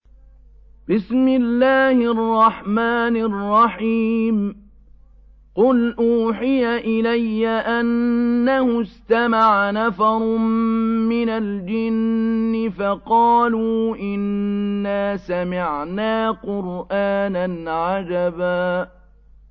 قُلْ أُوحِيَ إِلَيَّ أَنَّهُ اسْتَمَعَ نَفَرٌ مِّنَ الْجِنِّ فَقَالُوا إِنَّا سَمِعْنَا قُرْآنًا عَجَبًا